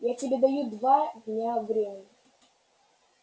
я тебе даю два дня времени